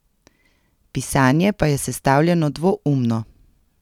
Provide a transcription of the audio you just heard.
Pisanje pa je sestavljeno dvoumno.